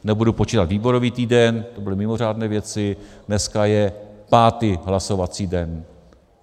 Nebudu počítat výborový týden, to byly mimořádné věci, dneska je pátý hlasovací den.